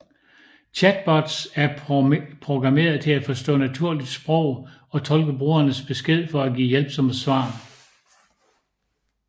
Chatbots er programmeret til at forstå naturligt sprog og tolke brugernes beskeder for at give hjælpsomme svar